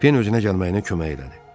Pen özünə gəlməyinə kömək elədi.